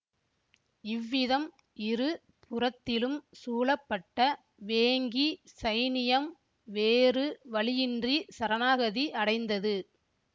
இவ்விதம் இரு புறத்திலும் சூழப்பட்ட வேங்கி சைனியம் வேறு வழியின்றிச் சரணாகதி அடைந்தது